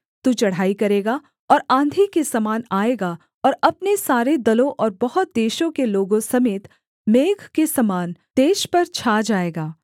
तू चढ़ाई करेगा और आँधी के समान आएगा और अपने सारे दलों और बहुत देशों के लोगों समेत मेघ के समान देश पर छा जाएगा